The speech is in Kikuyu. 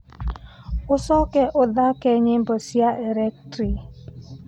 ũcoke ũthaake nyimbo cia electric